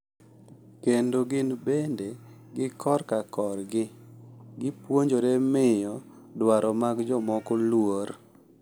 Kendo gin bende, gi korka korgi, gipuonjore miyo dwaro mag jomoko luor.